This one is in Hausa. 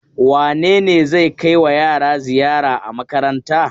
Wane ne zai kaiwa yara ziyara a makaranta.